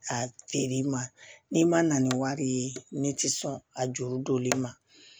A feere i ma n'i ma na ni wari ye ne ti sɔn a juru donlen ma